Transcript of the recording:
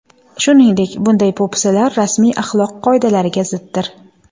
Shuningdek, bunday po‘pisalar rasmiy axloq qoidalariga ziddir.